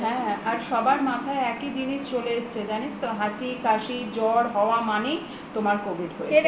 হ্যা আর সবার মাথায় একই জিনিস চলে এসছে জানিস তো হাঁচি কাশি জ্বর হওয়া মানেই তোমার covid হয়েছে